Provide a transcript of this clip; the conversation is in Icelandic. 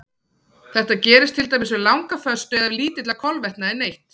Þetta gerist til dæmis við langa föstu eða ef lítilla kolvetna er neytt.